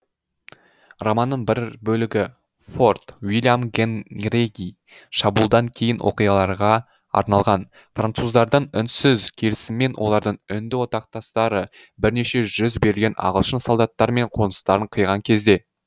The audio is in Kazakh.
романның бір бөлігі форт уильям генриге шабуылдан кейінгі оқиғаларға арналған француздардың үнсіз келісімімен олардың үнді одақтастары бірнеше жүз берілген ағылшын солдаттары мен қоныстарын қиған кезде